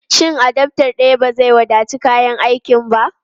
Shin adaftar daya ba zai wadaci kayan aikin ba?